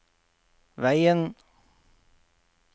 veien